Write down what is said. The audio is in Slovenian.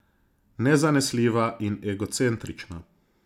Nezanesljiva in egocentrična.